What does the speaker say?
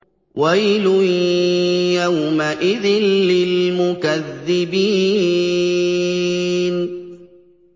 وَيْلٌ يَوْمَئِذٍ لِّلْمُكَذِّبِينَ